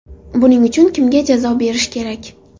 Buning uchun kimga jazo berish kerak?